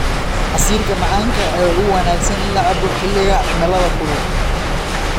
Casiirka macaanka ayaa ugu wanaagsan in la cabbo xilliga cimilada kulul.